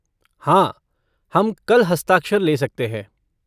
हाँ, हम कल हस्ताक्षर ले सकते हैं।